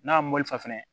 N'a mɔli fɛn fɛnɛ